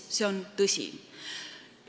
See on tõsi.